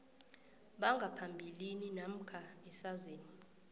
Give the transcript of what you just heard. bangaphambilini namkha esazini